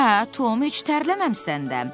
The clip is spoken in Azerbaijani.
Hə, Tom, heç tərləməmisən də.